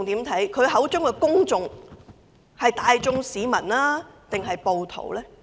他口中的公眾是大眾市民，還是暴徒？